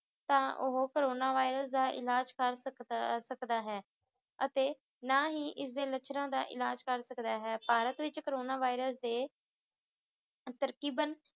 ਤਾਂ ਉਹ corona virus ਦਾ ਇਲਾਜ ਕਰ ਸਕਦਾ ਸਕਦਾ ਹੈ ਅਤੇ ਨਾ ਹੀ ਇਸ ਦੇ ਲੱਛਣਾਂ ਦਾ ਇਲਾਜ ਕਰ ਸਕਦਾ ਹੈ ਭਾਰਤ ਵਿੱਚ ਕੋਰੋਨਾ virus ਦੇ ਤਰਕੀਬਨ